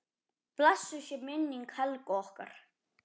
Blessuð sé minning Helgu okkar.